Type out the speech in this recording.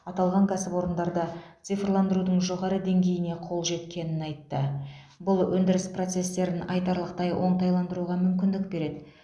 аталған кәсіпорындарда цифрландырудың жоғары деңгейіне қол жеткенін айтты бұл өндіріс процестерін айтарлықтай оңтайландыруға мүмкіндік береді